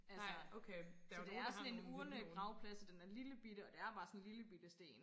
altså så det er sådan en urnegravplads og den er lille bitte og det er bare sådan en lille bitte sten